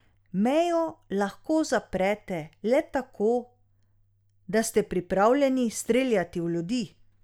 Mejo lahko zaprete le tako, da ste pripravljeni streljati v ljudi.